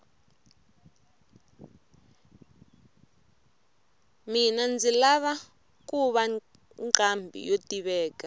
mina ndzi lava kuva nqambhi yo tiveka